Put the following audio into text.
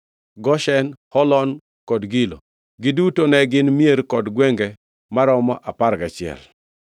Goshen, Holon, kod Gilo. Giduto ne gin mier kod gwenge maromo apar gachiel.